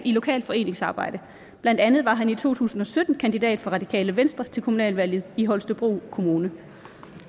lokalt foreningsarbejde blandt andet var han i to tusind og sytten kandidat for radikale venstre til kommunalvalget i holstebro kommune